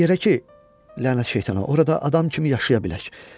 Elə yerə ki, lənət şeytana, orada adam kimi yaşaya bilək.